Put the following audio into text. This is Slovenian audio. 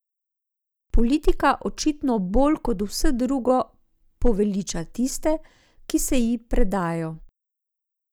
Politika očitno bolj kot vse drugo poveliča tiste, ki se ji predajo ...